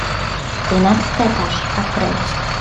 тринадцатый этаж открой